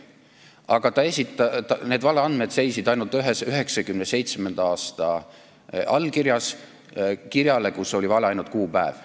Aga need valeandmed seisnesid ainult ühes 1997. aastal antud allkirjas kirjale, kus oli vale vaid kuupäev.